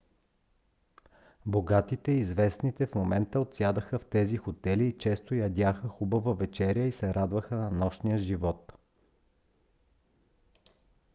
богатите и известните в момента отсядаха в тези хотели и често ядяха хубава вечеря и се радваха на нощния живот